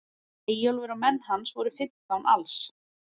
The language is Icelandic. Eyjólfur og menn hans voru fimmtán alls.